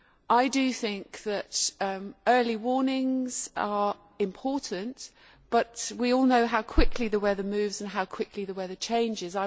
I think that early warnings are important, but we all know how quickly the weather moves and how quickly the weather changes.